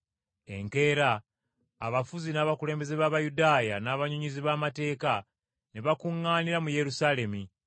Enkeera, abafuzi n’abakulembeze b’Abayudaaya, n’abannyonnyozi b’amateeka ne bakuŋŋaanira mu Yerusaalemi.